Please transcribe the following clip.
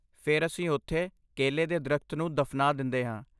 ਫਿਰ, ਅਸੀਂ ਉੱਥੇ ਕੇਲੇ ਦੇ ਦਰੱਖਤ ਨੂੰ ਦਫ਼ਨਾ ਦਿੰਦੇ ਹਾਂ।